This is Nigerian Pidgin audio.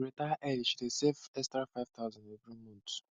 to retire early she need dey save extra five thousand every month